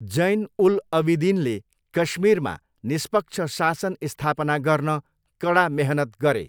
जैन उल अबिदिनले कश्मीरमा निष्पक्ष शासन स्थापना गर्न कडा मेहनत गरे।